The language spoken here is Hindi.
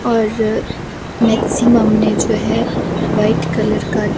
और मैक्सिमम ने जो हैवाइट कलर का --